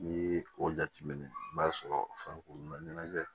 N'i ye o jateminɛ i b'a sɔrɔ farikolo ma ɲɛnajɛ